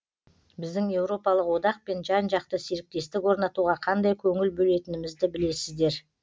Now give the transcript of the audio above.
біздің еуропалық одақпен жан жақты серіктестік орнатуға қандай көңіл бөлетінімізді білесіздер